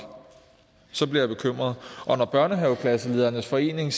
så bliver jeg bekymret når børnehaveklasseledernes forening